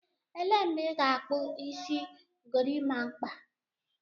Elee mgbe ị ga-akpu isi gorimakpa?